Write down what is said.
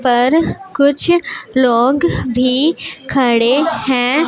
पर कुछ लोग भी खड़े हैं।